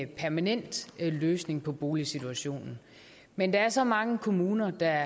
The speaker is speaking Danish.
permanent løsning på boligsituationen men der er så mange kommuner der